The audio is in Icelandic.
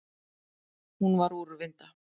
Hún var úrvinda.